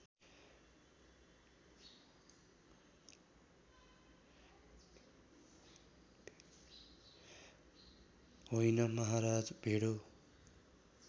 होइन महाराज भेडो